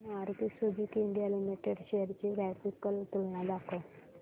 Maruti Suzuki India limited shares ची graphical तुलना दाखव